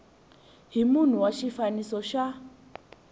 hi munhu wa xifaniso xa